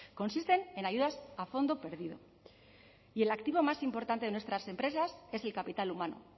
consisten en ayudas a fondo perdido y el activo más importante de nuestras empresas es el capital humano